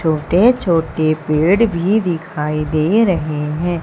छोटे छोटे पेड़ भी दिखाई दे रहे हैं।